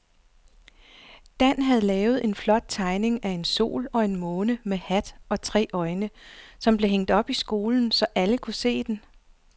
Dan havde lavet en flot tegning af en sol og en måne med hat og tre øjne, som blev hængt op i skolen, så alle kunne se den.